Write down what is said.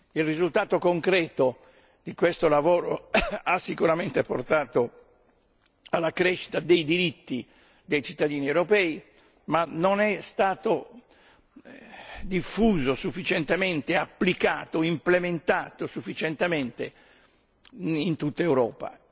Il risultato concreto di questo lavoro ha sicuramente portato alla crescita dei diritti dei cittadini europei, ma non è stato diffuso sufficientemente, applicato, implementato sufficientemente in tutta Europa.